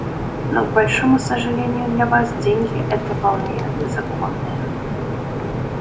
но к большому сожалению для вас деньги эти вполне законные